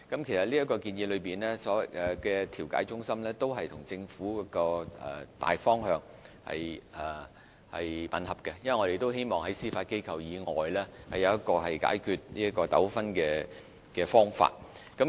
這項建議提到的調解中心與政府政策的大方向吻合，我們也希望在司法機構以外有解決糾紛的方法。